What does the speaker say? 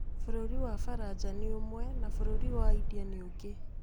Bũrũri wa Faranja nĩ ũmwe, na bũrũri wa India nĩ ũngĩ.